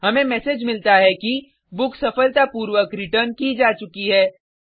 हमें मैसेज मिलता है कि बुक सफलतापूर्वक रिटर्न की जा चुकी है